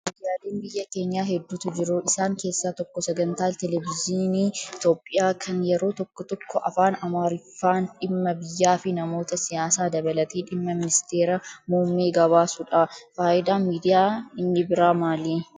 Miidyaaleen biyya keenyaa hedduutu jiru. Isaan keessaa tokko sagantaa televezyiinii Itoophiyaa kan yeroo tokko tokko afaan amaariffaan dhimma biyyaa fi namoota siyaasaa dabalatee dhimma ministeera muummee gabaasudha. Fayidaan miidiyaa inni biraa maali?